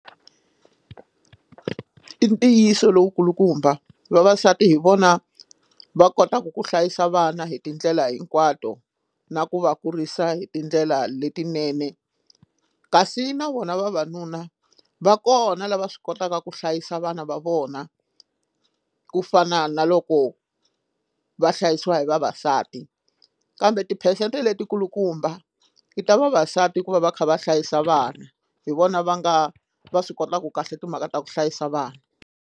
I ntiyiso lowu kulukumba vavasati hi vona va kotaka ku hlayisa vana hi tindlela hinkwato na ku va kurisa hi tindlela letinene kasi na vona vavanuna va kona lava swi kotaka ku hlayisa vana va vona ku fana na loko va hlayisiwa hi vavasati kambe tiphesente leti kulukumba i ta vavasati ku va va kha va hlayisa vana hi vona va nga va swi kotaka kahle timhaka ta ku hlayisa vana.